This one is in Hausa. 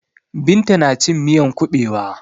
Binta na cin miyan kuɓewa.